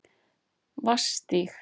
Vatnsstíg